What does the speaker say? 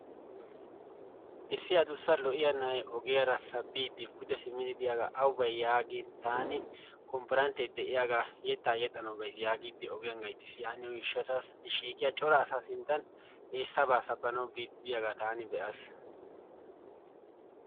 Issi adussa lo"iya na"ayi ogiyara sabbiiddi pude simmidi biyaga awu bayi yaagin taani konipporansse de"iyaga yettaa yexxanawu bayis yaagiiddi ogiyan gayttis. Yaaniyo gishshataassi shiiqiya cora asáá sinttan i sabaa sabbanwu biiddi de"iyaga taani be"aas.